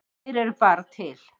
Þeir eru bara til.